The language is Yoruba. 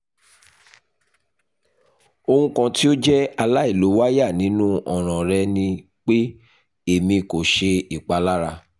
ohun kan ti o jẹ alailowaya ninu ọran rẹ ni pe emi ko ṣe ipalara